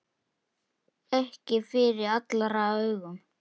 Ekki fyrir allra augum.